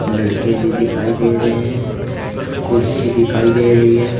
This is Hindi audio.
लड़के भी दिखाई दे रहे हैं कुर्सी दिखाई दे रही है।